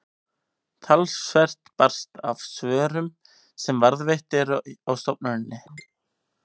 talsvert barst af svörum sem varðveitt eru á stofnuninni